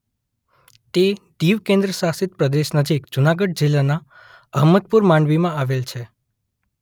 તે દીવ કેન્દ્રશાસિત પ્રદેશ નજીક જુનાગઢ જિલ્લાના અહમદપુર માંડવીમાં આવેલ છે.